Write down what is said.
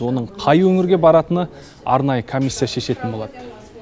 оның қай өңірге баратыны арнайы комиссия шешетін болады